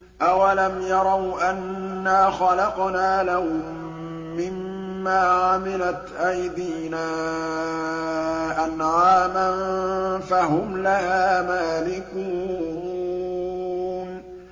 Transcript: أَوَلَمْ يَرَوْا أَنَّا خَلَقْنَا لَهُم مِّمَّا عَمِلَتْ أَيْدِينَا أَنْعَامًا فَهُمْ لَهَا مَالِكُونَ